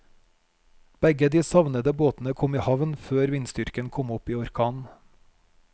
Begge de savnede båtene kom i havn før vindstyrken kom opp i orkan.